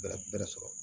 Bɛrɛ bɛrɛ sɔrɔ